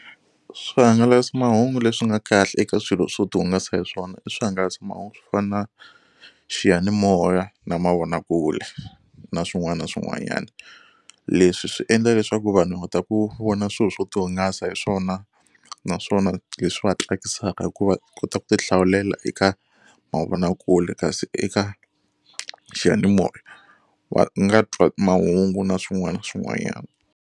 Swihangalasamahungu leswi nga kahle eka swilo swo ti hungasa hi swona i swihangalasamahungu swo fana na xiyanimoya na mavonakule na swin'wana na swin'wanyana. Leswi swi endla leswaku vanhu va ta ku vona swilo swo ti hungasa hi swona naswona leswi va tsakisaka hikuva u kota ku ti hlawulela eka mavonakule kasi eka xiyanimoya va nga twa mahungu na swin'wana na swin'wanyana.